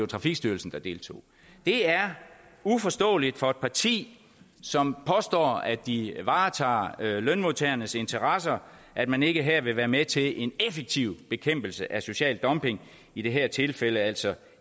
trafikstyrelsen der deltog det er uforståeligt for et parti som påstår at de varetager lønmodtagernes interesser at man ikke her vil være med til en effektiv bekæmpelse af social dumping i det her tilfælde altså